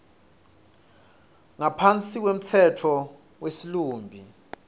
ngaphansi kwemtsetfo wesilumbi